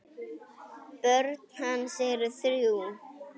Börn hans eru þrjú.